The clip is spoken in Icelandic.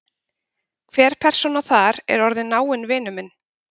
Hver persóna þar er orðinn náinn vinur minn.